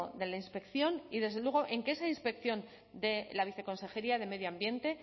de la inspección y desde luego en que esa inspección de la viceconsejería de medio ambiente